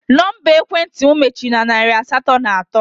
Nọmba ekwentị m mechiri na narị asatọ na atọ